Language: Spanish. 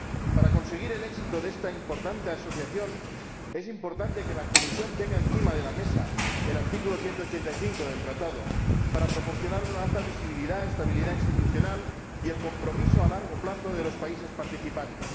Para conseguir el éxito de esta importante asociación, es importante que la Comisión tenga encima de la mesa el artículo 185 del Tratado, para proporcionar una alta visibilidad, estabilidad institucional y el compromiso a largo plazo de los países participantes.